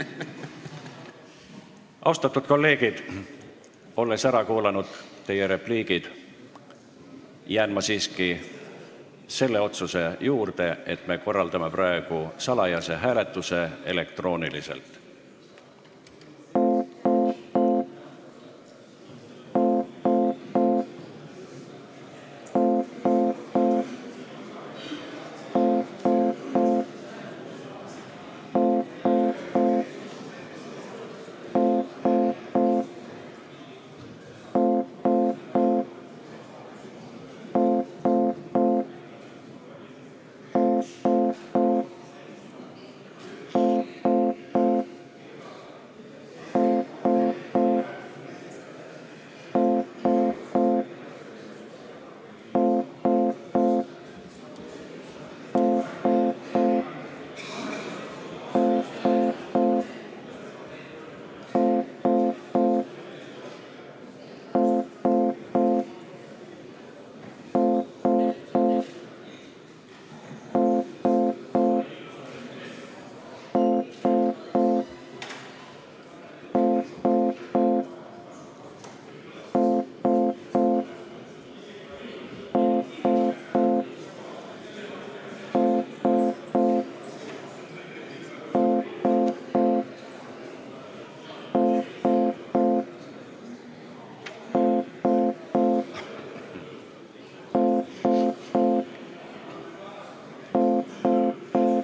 Austatud kolleegid, olles ära kuulanud teie repliigid, jään ma siiski selle otsuse juurde, et me korraldame praegu salajase hääletuse elektrooniliselt.